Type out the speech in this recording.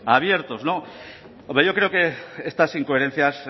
abiertos hombre yo creo que estas incoherencias